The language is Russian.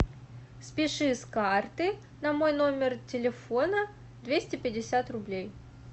спиши с карты на мой номер телефона двести пятьдесят рублей